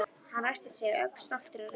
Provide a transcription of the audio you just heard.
Hann ræskti sig, ögn stoltur af ræðunni.